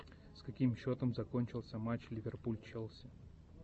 с каким счетом закончился матч ливерпуль челси